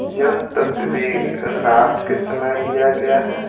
यह तस्वीर रात के समय लिया गया है।